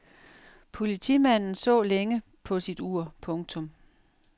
Politimanden så længe på sit ur. punktum